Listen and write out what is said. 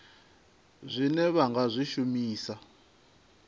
zwine vha nga zwi shumisa